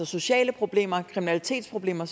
sociale problemer kriminalitetsproblemer